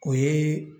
O ye